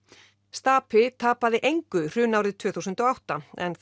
stapi tapaði engu hrunárið tvö þúsund og átta en